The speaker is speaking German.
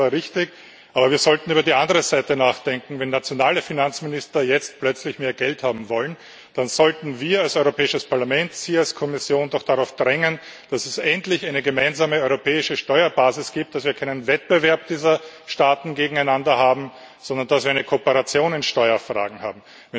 Das Urteil war richtig, aber wir sollten über die andere Seite nachdenken. Wenn nationale Finanzminister jetzt plötzlich mehr Geld haben wollen, dann sollten wir als Europäisches Parlament Sie als Kommission doch dazu drängen, dass es endlich eine gemeinsame europäische Steuerbasis gibt, dass wir keinen Wettbewerb dieser Staaten gegeneinander, sondern eine Kooperation in Steuerfragen haben.